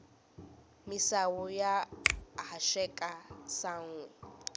misawu ya haxeka sanhwi